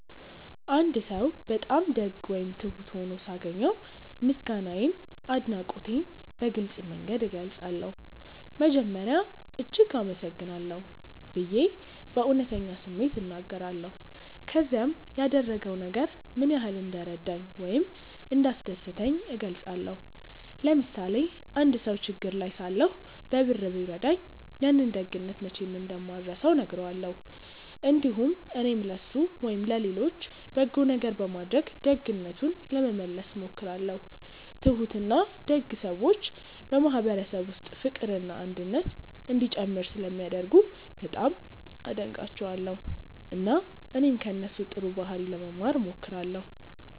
አንድ ሰው በጣም ደግ ወይም ትሁት ሆኖ ሳገኘው ምስጋናዬንና አድናቆቴን በግልጽ መንገድ እገልጻለሁ። መጀመሪያ “እጅግ አመሰግናለሁ” ብዬ በእውነተኛ ስሜት እናገራለሁ፣ ከዚያም ያደረገው ነገር ምን ያህል እንደረዳኝ ወይም እንዳስደሰተኝ እገልጻለሁ። ለምሳሌ አንድ ሰው ችግር ላይ ሳለሁ በብር ቢረዳኝ፣ ያንን ደግነት መቼም እንደማልረሳው እነግረዋለሁ። እንዲሁም እኔም ለእሱ ወይም ለሌሎች በጎ ነገር በማድረግ ደግነቱን ለመመለስ እሞክራለሁ። ትሁትና ደግ ሰዎች በማህበረሰብ ውስጥ ፍቅርና አንድነት እንዲጨምር ስለሚያደርጉ በጣም አደንቃቸዋለሁ፣ እና እኔም ከእነሱ ጥሩ ባህሪ ለመማር እሞክራለሁ።